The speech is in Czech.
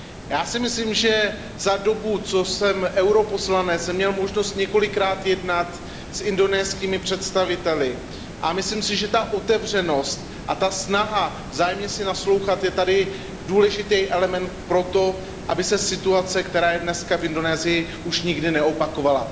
Já si myslím, že za dobu, co jsem europoslanec, jsem měl možnost několikrát jednat s indonéskými představiteli a myslím si, že ta otevřenost a ta snaha vzájemně si naslouchat je tady důležitý element pro to, aby se situace, která je dnes v Indonésii, už nikdy neopakovala.